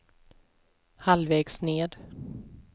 halvvägs ned